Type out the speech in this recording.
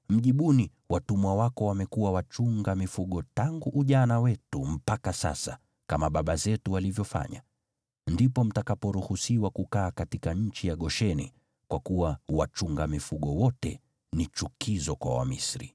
Mjibuni, ‘Watumwa wako wamekuwa wachunga mifugo tangu ujana wetu mpaka sasa, kama baba zetu walivyofanya.’ Ndipo mtakaporuhusiwa kukaa katika nchi ya Gosheni, kwa kuwa wachunga mifugo wote ni chukizo kwa Wamisri.”